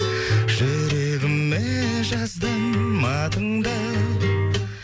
жүрегіме жаздым атыңды